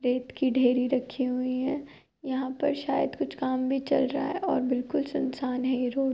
रेत की ढेरी रखी हुई है। यहाँ पर शायद कुछ काम भी चल रहा है और बिलकुल सुनसान है ये रोड ।